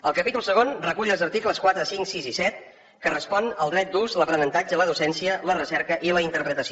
el capítol segon recull els articles quatre cinc sis i set que responen al dret d’ús l’aprenentatge la docència la recerca i la interpretació